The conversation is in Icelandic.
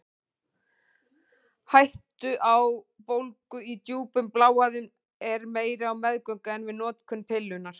Hætta á bólgu í djúpum bláæðum er meiri á meðgöngu en við notkun pillunnar.